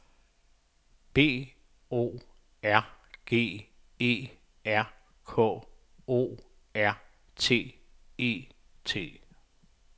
B O R G E R K O R T E T